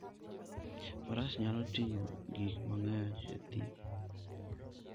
Faras nyalo ting'o gik mang'eny e thim.